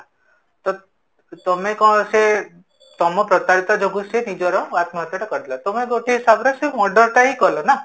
ତ ତମେ କଣ ସେ ତମର ତରତରିତର ଯୋଗୁଁ ସେ ଆତ୍ମହତ୍ୟାଟା କରିଦେଲା ତମେ ଗୋଟେ ହିସାବରେ ସେଇ murder ଟା ହୀ କଲ ନା?